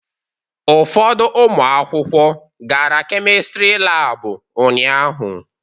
Ụfọdụ ụmụ akwụkwọ gara Kemistri Laabụ ụnyaahụ.